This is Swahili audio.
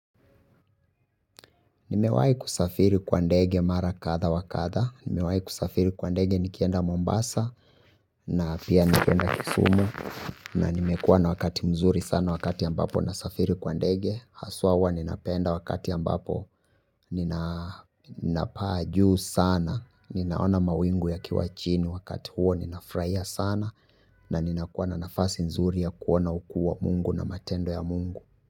Nimewahi kusafiri kwa ndege mara kadha wa kadha, nimewahi kusafiri kwa ndege nikienda Mombasa, na pia nikienda Kisumu, na nimekuwa na wakati mzuri sana wakati ambapo nasafiri kwa ndege, haswa huwa ninapenda wakati ambapo ninapaa juu sana, ninaona mawingu yakiwa chini. Wakati huo, ninafurahia sana, na ninakuwa na nafasi nzuri ya kuona ukuu wa Mungu na matendo ya Mungu.